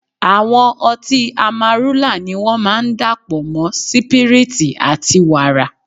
Àwọn ọtí Amarúlà ni wón máa ń dà pọ̀ mọ́ sípírítì àti wàrà.